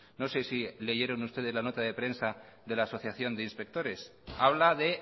no sé si leyeron ustedes la nota de prensa de la asociación de inspectores habla de